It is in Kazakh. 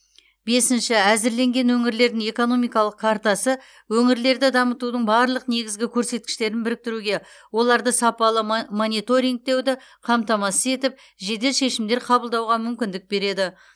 бесінші әзірленген өңірлердің экономикалық картасы өңірлерді дамытудың барлық негізгі көрсеткіштерін біріктіруге оларды сапалы мо мониторингтеуді қамтамасыз етіп жедел шешімдер қабылдауға мүмкіндік береді